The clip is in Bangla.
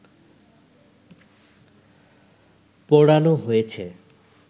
পোড়ানো হয়েছে